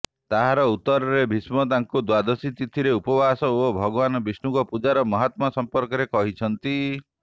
ତାହାର ଉତ୍ତରରେ ଭୀଷ୍ମ ତାଙ୍କୁ ଦ୍ୱାଦଶୀ ତିଥିର ଉପବାସ ଓ ଭଗବାନ ବିଷ୍ଣୁଙ୍କ ପୂଜାର ମାହାତ୍ମ୍ୟ ସଂପର୍କରେ କହିଛନ୍ତି